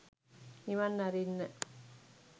නිවන් අරින්න.